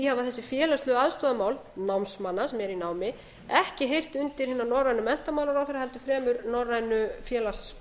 hafa þessi félagslegu aðstoðarmál námsmanna sem eru í námi ekki heyrt undir hina norrænu menntamálaráðherra heldur fremur norrænu félags